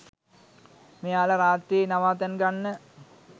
මෙයාල රාත්‍රියේ නවාතැන් ගන්න